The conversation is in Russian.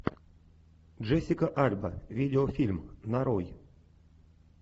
джессика альба видеофильм нарой